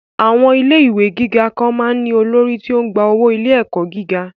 Àwọn ilé ìwé gíga kan máa ń ní olórí tí ó ń gba owó ilé-ẹ̀kọ́ gíga